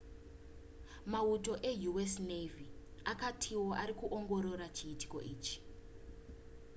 mauto eu.s. navy akatiwo ari kuongorora chiitiko ichi